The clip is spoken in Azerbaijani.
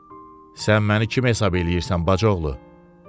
Sən məni kim hesab eləyirsən, bacıoğlu?